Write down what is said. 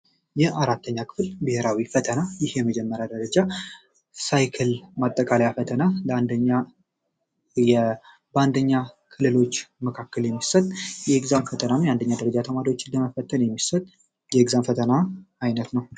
ይህ አራተኛ ክፍል ብሔራዊ ፈተና ይህ የመጀመሪያ ደረጃ ሳይክል ማጠቃለያ ፈተና በአንደኛ ክልሎች መካከል የሚሰጥ የእግዛም ፈተናም ነው። የአንደኛ ደረጃ ተማሪዎችን ለመፈተን የሚሰት የእግዛም ፈተና ዓይነት ነው።